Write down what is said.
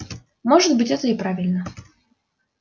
может быть это и правильно